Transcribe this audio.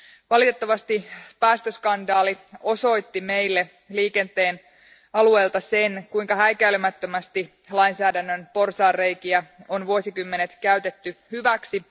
Valitettavasti päästöskandaali osoitti meille liikenteen alueelta sen, kuinka häikäilemättömästi lainsäädännön porsaanreikiä on vuosikymmenet käytetty hyväksi.